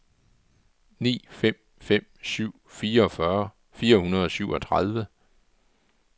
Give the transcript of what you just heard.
ni fem fem syv fireogfyrre fire hundrede og syvogtredive